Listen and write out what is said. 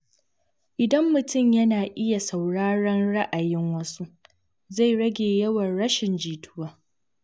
Idan mutum yana iya sauraron ra’ayin wasu, zai rage yawan rashin jituwa.